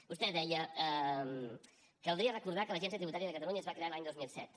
vostè deia caldria recordar que l’agència tributària de catalunya es va crear l’any dos mil set